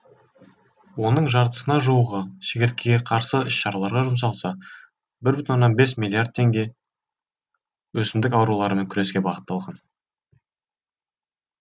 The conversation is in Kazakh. оның жартысына жуығы шегірткеге қарсы іс шараларға жұмсалса бір бүтін оннан бес миллиард теңге өсімдік ауруларымен күреске бағытталған